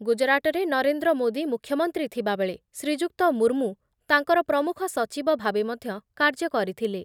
ଗୁଜରାଟରେ ନରେନ୍ଦ୍ର ମୋଦି ମୁଖ୍ୟମନ୍ତ୍ରୀ ଥିବାବେଳେ ଶ୍ରୀଯୁକ୍ତ ମୁର୍ମୁ ତାଙ୍କର ପ୍ରମୁଖ ସଚିବ ଭାବେ ମଧ୍ୟ କାର୍ଯ୍ୟ କରିଥିଲେ ।